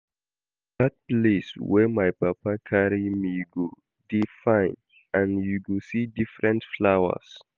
Dat place where my papa carry me go dey fine and you go see different flowers